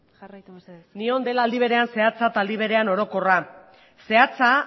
jarraitu mesedez esan genezake gure proposamena dela aldi berean zehatza eta aldi berean orokorra zehatza